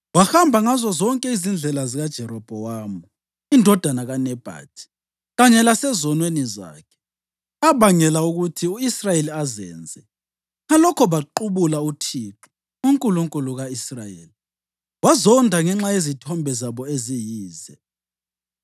Wahamba ngazozonke izindlela zikaJerobhowamu indodana kaNebhathi kanye lasezonweni zakhe, abangela ukuthi u-Israyeli azenze, ngalokho baqubula uThixo, uNkulunkulu ka-Israyeli, wazonda ngenxa yezithombe zabo eziyize.